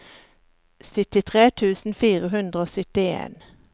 syttitre tusen fire hundre og syttien